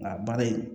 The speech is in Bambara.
Nka baara in